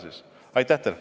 Aitäh teile!